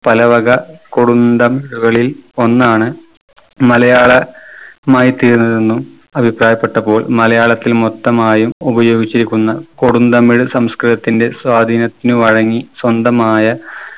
പലവക കൊടുന്തം കളിൽ ഒന്നാണ് മലയാള മായി തീർന്നതെന്നും അഭിപ്രായപ്പെട്ടപ്പോൾ മലയാളത്തിൽ മൊത്തമായും ഉപയോഗിച്ചിരിക്കുന്ന കൊടുന്തമിഴ് സംസ്കൃതത്തിന്റെ സ്വാധീനത്തിന് വഴങ്ങി സ്വന്തമായ